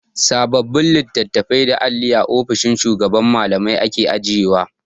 Sababbin litattafai da alli a ofishin shugaban Mallamai ake ajiyewa.